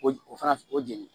O o fana o jɛnini